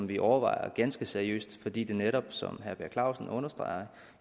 vi overvejer ganske seriøst fordi det netop som herre per clausen understreger